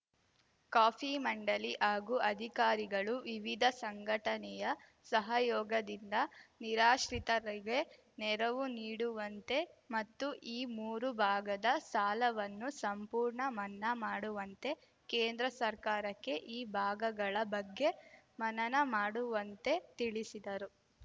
coffee ಮಂಡಲಿ ಹಾಗೂ ಅಧಿಕಾರಿಗಳು ವಿವಿಧ ಸಂಘಟನೆಯ ಸಹಯೋಗದಿಂದ ನಿರಾಶ್ರಿತರಿಗೆ ನೆರವು ನೀಡುವಂತೆ ಮತ್ತು ಈ ಮೂರು ಭಾಗದ ಸಾಲವನ್ನು ಸಂಪೂರ್ಣ ಮನ್ನಾ ಮಾಡುವಂತೆ ಕೇಂದ್ರ ಸರ್ಕಾರಕ್ಕೆ ಈ ಭಾಗಗಳ ಬಗ್ಗೆ ಮನನ ಮಾಡುವಂತೆ ತಿಳಿಸಿದರು